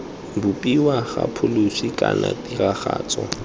bopiwa ga pholisi kana tiragatso